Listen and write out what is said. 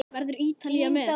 Verður Ítalía með?